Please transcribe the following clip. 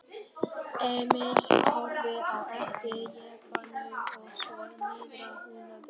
Emil horfði á eftir jeppanum og svo niðrað Húnaveri.